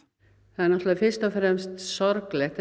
þetta er fyrst og fremst sorglegt